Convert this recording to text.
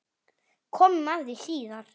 Komum að því síðar.